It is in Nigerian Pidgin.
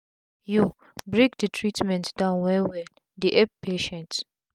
yo break d treatment down wel wel dey epp patient